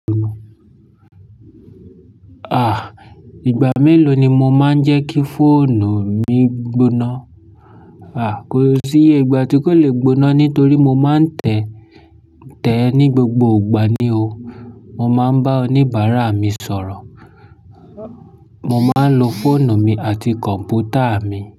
À, ìgbà mélòó ni mo máa ń jẹ́ kí fóònù mi gbóná? À, kò sí yé ìgbà tí kó le gbóná nítorí mo máa ń tẹ̀ẹ́ ní gbogbo ìgbà ni o. Mo máa ń bá oníbàárà mi sọ̀rọ̀. Mo máa ń lo fóònù mi àti kọ̀m̀pútà mi.